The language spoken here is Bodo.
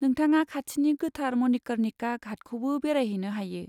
नोंथाङा खाथिनि गोथार मणिकर्णिका घाटखौबो बेरायहैनो हायो।